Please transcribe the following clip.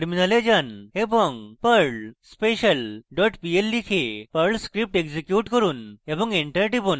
terminal যান এবং perl special dot pl লিখে perl script execute করুন এবং enter টিপুন